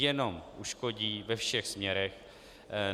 Jenom uškodí ve všech směrech.